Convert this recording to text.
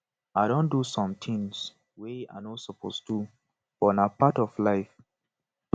i don do some things wey i no suppose do but na part of life